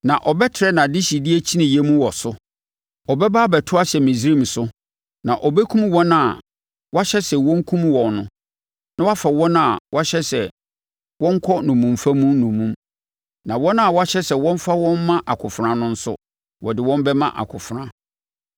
Ɔbɛba abɛto ahyɛ Misraim so, na ɔbɛkum wɔn a wɔahyɛ sɛ wɔnkum wɔn no, na wɔafa wɔn a wɔahyɛ sɛ wɔnkɔ nnommumfa mu nnommum. Na wɔn a wɔahyɛ sɛ wɔmfa wɔn mma akofena no nso, wɔde wɔn bɛma akofena.